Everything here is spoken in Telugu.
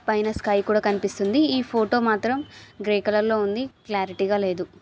పైన స్కై కూడా కనిపిస్తుంది ఈ ఫోటో మాత్రం గ్రె కలర్ లో ఉంది క్లారిటీ గా లేదు.